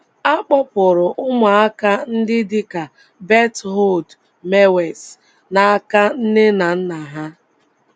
A kpọpụrụ ụmụaka ndị dị ka Berthold Mewes n’aka nne na nna ha